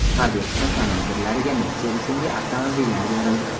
Harbiy qism komandirlariga Nexia rusumli avtomobillar berildi.